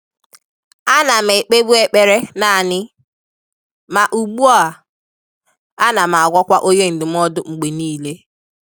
Á nà m ékpébu ékpèré nāànị́, mà ùgbú à, ànà m àgwàkwà ọ́nyé ndụ́mọ́dụ́ mgbè níílé.